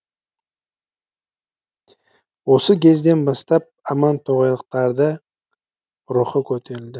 осы кезден бастап амантоғайлықтарды рухы көтерілді